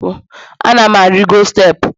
Ana m arigo steepụ